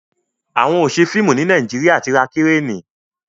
àwọn ọṣẹ fíìmù ní Nàìjíríà tí ra Kireni